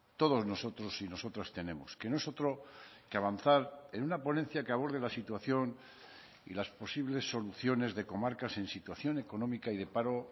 todos nosotros y nosotras tenemos que no es otro que avanzar en una ponencia que aborde la situación y las posibles soluciones de comarcas en situación económica y de paro